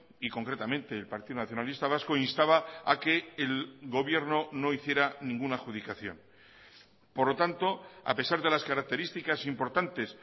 y concretamente el partido nacionalista vasco instaba a que el gobierno no hiciera ninguna adjudicación por lo tanto a pesar de las características importantes